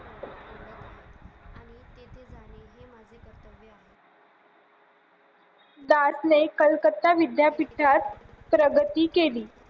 ने विद्यापीठात प्रगती केली